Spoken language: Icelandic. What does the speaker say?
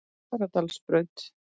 Fagradalsbraut